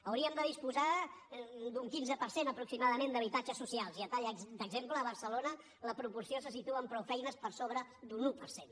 hauríem de disposar d’un quinze per cent aproximadament d’habitatges socials i a tall d’exemple a barcelona la proporció se situa amb prou feines per sobre d’un un per cent